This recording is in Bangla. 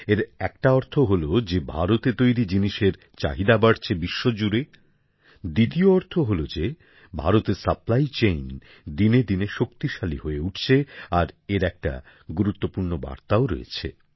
এর একটা অর্থ হল যে ভারতে তৈরি জিনিসের চাহিদা বাড়ছে বিশ্বজুড়ে দ্বিতীয় অর্থ হল যে ভারতের সরবরাহ শৃঙ্খল দিনেদিনে শক্তিশালী হয়ে উঠছে আর এর একটা গুরুত্বপূর্ণ বার্তাও রয়েছে